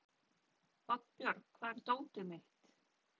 Oddbjörg, hvar er dótið mitt?